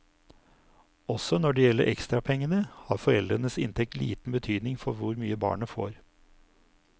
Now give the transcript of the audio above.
Også når det gjelder ekstrapengene, har foreldrenes inntekt liten betydning for hvor mye barnet får.